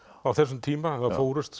á þessum tíma það fórust